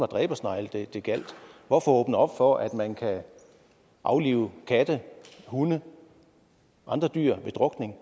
dræbersnegle hvorfor åbne op for at man kan aflive katte hunde og andre dyr ved drukning